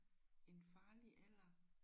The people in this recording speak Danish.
En farlig alder?